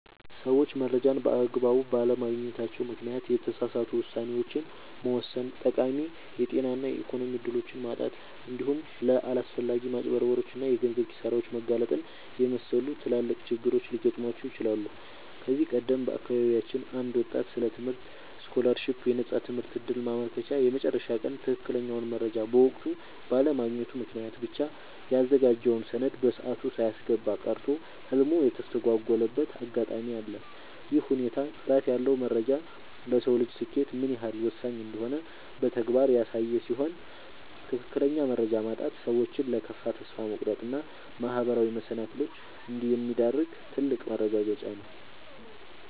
ሰዎች መረጃን በአግባቡ ባለማግኘታቸው ምክንያት የተሳሳቱ ውሳኔዎችን መወሰን፣ ጠቃሚ የጤና እና የኢኮኖሚ እድሎችን ማጣት፣ እንዲሁም ለአላስፈላጊ ማጭበርበሮች እና የገንዘብ ኪሳራዎች መጋለጥን የመሰሉ ትላልቅ ችግሮች ሊገጥሟቸው ይችላሉ። ከዚህ ቀደም በአካባቢያችን አንድ ወጣት ስለ ትምህርት ስኮላርሺፕ (የነፃ ትምህርት ዕድል) ማመልከቻ የመጨረሻ ቀን ትክክለኛውን መረጃ በወቅቱ ባለማግኘቱ ምክንያት ብቻ ያዘጋጀውን ሰነድ በሰዓቱ ሳያስገባ ቀርቶ ህልሙ የተስተጓጎለበት አጋጣሚ አለ። ይህ ሁኔታ ጥራት ያለው መረጃ ለሰው ልጅ ስኬት ምን ያህል ወሳኝ እንደሆነ በተግባር ያሳየ ሲሆን፣ ትክክለኛ መረጃ ማጣት ሰዎችን ለከፋ ተስፋ መቁረጥ እና ማህበራዊ መሰናክሎች እንደሚዳርግ ትልቅ ማረጋገጫ ነው።